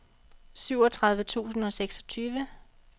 syvogtredive tusind og seksogtyve